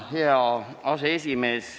Hea aseesimees!